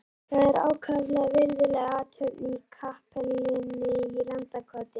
Það var ákaflega virðuleg athöfn í kapellunni í Landakoti.